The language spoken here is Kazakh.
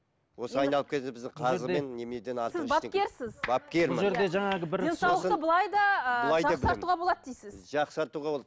осы айналып денсаулықты былай да жақсартуға болады дейсіз жақсартуға болады